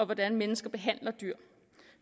hvordan mennesker behandler dyr